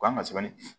Ko an ka sɛbɛnni di